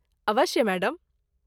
अवश्य , मैडम।